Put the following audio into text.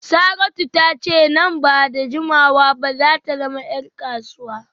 Saratu ta ce nan ba da jimawa ba za ta zama ‘yar kasuwa